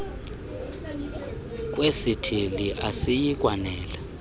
kwesithili asiyi kwanela